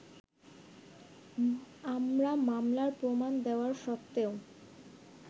আমরা মামলার প্রমাণ দেওয়া সত্ত্বেও